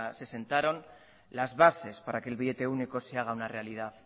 se sentaron las bases para que el billete único se haga una realidad